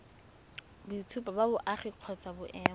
boitshupo ba boagi kgotsa boemo